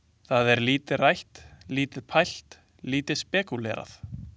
Það er lítið rætt, lítið pælt, lítið spekúlerað.